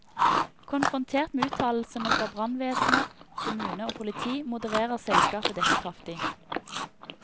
Konfrontert med uttalelsene fra brannvesen, kommune og politi, modererer selskapet dette kraftig.